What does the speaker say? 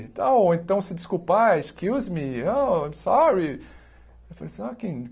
Então ou então, se desculpar, excuse me, oh I'm sorry.